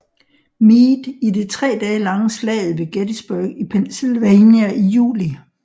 Meade i det 3 dage lange Slaget ved Gettysburg i Pennsylvania i juli